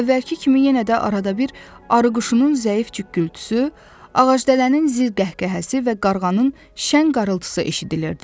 Əvvəlki kimi yenə də arada bir arıquşunun zəif cükgültüsü, ağacdələnin zil qəhqəhəsi və qarğanın şən qarıltısı eşidilirdi.